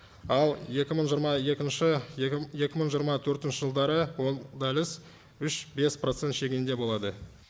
ал екі мың жиырма екінші екі мың жиырма төртінші жылдары ол дәліз үш бес процент шегінде болады